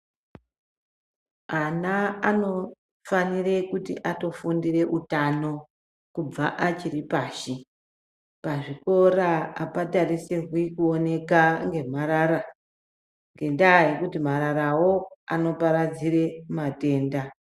Ana anofanira kufundira utano kubva achiri pashi pazvikora apatarisirwi kuonekwa nemharara ngenda yekuti mararawo anoparadzira matenda.